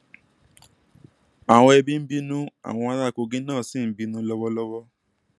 àwọn ẹbí bínú àwọn ará kogi náà ṣì ń bínú lọwọlọwọ